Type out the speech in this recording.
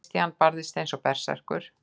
Christian barðist eins og berserkur.